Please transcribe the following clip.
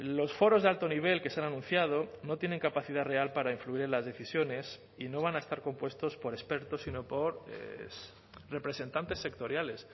los foros de alto nivel que se han anunciado no tienen capacidad real para influir en las decisiones y no van a estar compuestos por expertos sino por representantes sectoriales